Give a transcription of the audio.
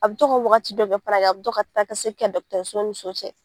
A bɛ to ka wagati dɔ kɛ a bɛ to ka taanikasegin kɛ dɔgɔtɔrɔso ni so cɛ